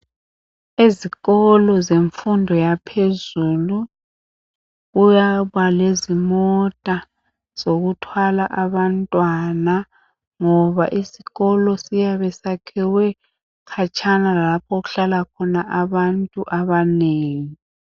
Ezikolo zemfundo yaphezulu kuyaba lezimota zokuthwala abantwana ngoba isikolo siyabe siyakhiwe khatshana lalapho okuhlala khona abantu abanengi.